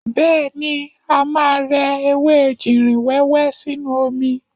Bẹ́ẹ̀ni, a máa rẹ ewé ejìrìn wẹ́wẹ́ sínú omi.